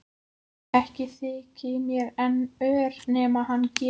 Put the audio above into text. Ekki þyki mér hann ör nema hann gefi.